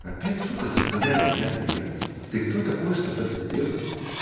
опять сука заставляет меня смеяться ты кто такой чтобы это сделать